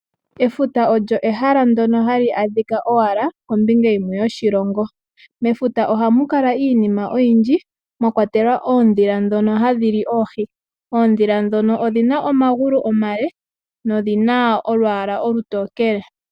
Efuta olyo ehala ndono hali adhika owala kombinga yimwe yoshilongo. Mefuta ohamu kala iinima oyindji mwakwatelwa oondhila ndhono hadhi li oohi. Oondhila ndhono odhina omagulu omale nodhina olwala olutokele